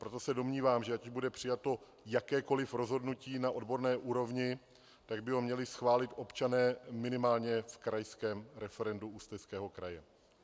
Proto se domnívám, že ať bude přijato jakékoliv rozhodnutí na odborné úrovni, tak by ho měli schválit občané minimálně v krajském referendu Ústeckého kraje.